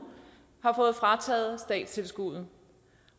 har fået frataget statstilskuddet